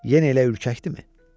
Yenə elə ürkəkdirmi?